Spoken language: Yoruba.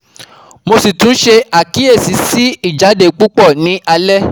Mo si tun se akiyesi si ijade pupo ni ale